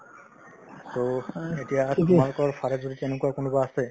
so এতিয়া তোমালোকৰ ফালৰ যদি তেনেকুৱা কোনোবা আছে